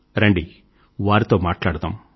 రండి వారితో మాట్లాడదాం